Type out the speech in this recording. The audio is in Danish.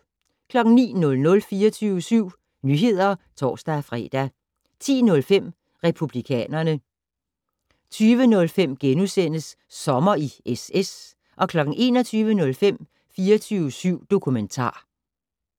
09:00: 24syv Nyheder (tor-fre) 10:05: Republikanerne 20:05: Sommer i SS * 21:05: 24syv dokumentar